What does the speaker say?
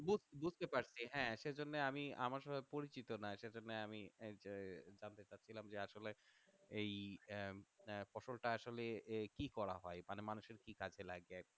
বুঝতে পারছি হ্যাঁ সেজন্য আমি আমার পরিচিত না সেজন্য আমি আহ জানতে চাচ্ছিলাম যে আসলে এই আহ আহ ফসল টা আসলে কি করা হয় মানে মানুষের কি কাজে লাগে